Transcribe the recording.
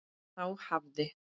Þá hafði